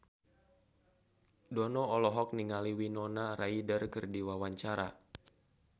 Dono olohok ningali Winona Ryder keur diwawancara